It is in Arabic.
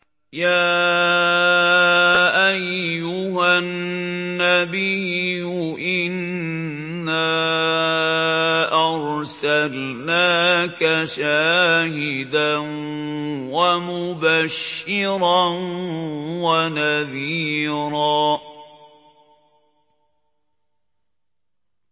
يَا أَيُّهَا النَّبِيُّ إِنَّا أَرْسَلْنَاكَ شَاهِدًا وَمُبَشِّرًا وَنَذِيرًا